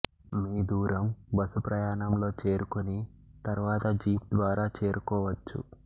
మీ దూరం బసు ప్రయాణంలో చేరుకుని తరువాత జీప్ ద్వారా చేరుకోవచ్చు